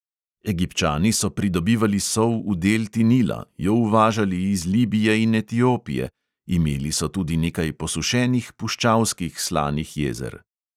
Egipčani so pridobivali sol v delti nila, jo uvažali iz libije in etiopije, imeli so tudi nekaj posušenih puščavskih slanih jezer.